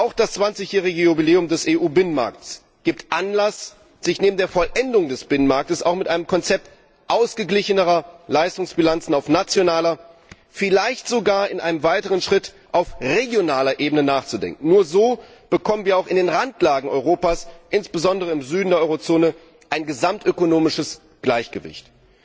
Auch das zwanzigjährige Jubiläum des EU Binnenmarktes gibt Anlass, sich neben der Vollendung des Binnenmarktes auch mit einem Konzept ausgeglichenerer Leistungsbilanzen auf nationaler, vielleicht sogar in einem weiteren Schritt auf regionaler Ebene zu befassen. Nur so bekommen wir auch in den Randlagen Europas, insbesondere im Süden der Eurozone, ein gesamtökonomisches Gleichgewicht.